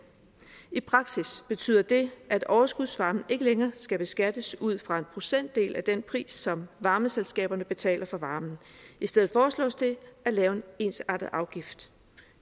i praksis betyder det at overskudsvarmen ikke længere skal beskattes ud fra en procentdel af den pris som varmeselskaberne betaler for varmen i stedet foreslås det at lave en ensartet afgift